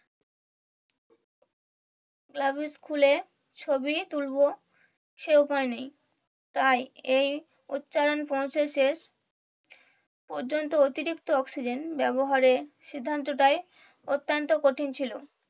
gluves খুলে ছবি তুলবো সেই উপায় নাই তাই এই উচ্চারণ পর্যন্ত অতিরিক্ত অক্সিজেন ব্যাবহার এর সিদ্ধান্ত অত্যন্ত কঠিন ছিল